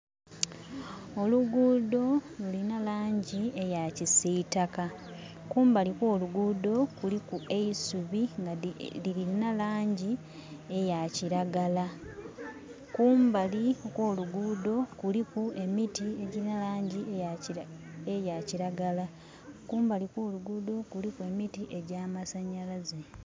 Oluguudho lulina langi eya kisiitaka. Kumbali kw'oluguudho kuliku eisubi nga lilina langi eya kilagala. Kumbali okw'oluguudho kuliku emiti egilinha langi eya kilagala. Kumbali kw'oluguudho kuliku emiti egy'amasanyalaze.